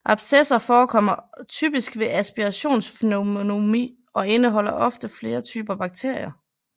Abscesser forekommer typisk ved aspirationspneumoni og indeholder ofte flere typer bakterier